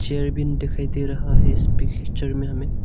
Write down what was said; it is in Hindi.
दिखाई दे रहा है इस पिक्चर में हमें।